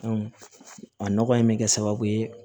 a nɔgɔ in bɛ kɛ sababu ye